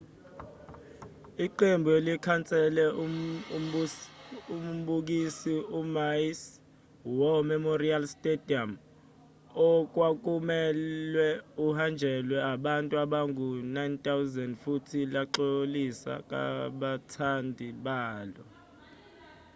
iqembu likhansele umbukiso emaui's war memorial stadium okwakumelwe uhanjelwe abantu abangu-9,000 futhi laxolisa kubathandi balo